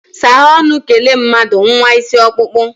saghe ọnu, kele mmadu, nwa isi okpukpu!